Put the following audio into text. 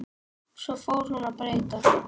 Svo fór hún að breyta.